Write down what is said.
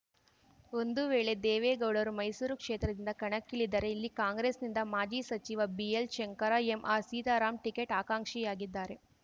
ಒಂದು ವೇಳೆ ದೇವೇಗೌಡರು ಮೈಸೂರು ಕ್ಷೇತ್ರದಿಂದ ಕಣಕ್ಕಿಳಿದರೆ ಇಲ್ಲಿ ಕಾಂಗ್ರೆಸ್‌ನಿಂದ ಮಾಜಿ ಸಚಿವ BL Shankar MR Sitaram ticket ಆಕಾಂಕ್ಷಿಯಾಗಿದ್ದಾರೆ